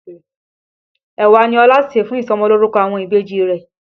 Ẹ̀wà ní Ọlá ṣè fún ìsọmọlórúkọ àwọn ìbejì rẹ̀